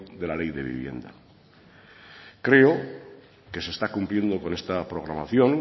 de la ley de vivienda creo que se está cumpliendo con esta programación